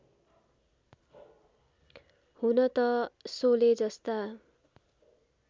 हुन त शोले जस्ता